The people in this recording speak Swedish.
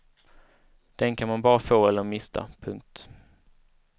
Den kan man bara få eller mista. punkt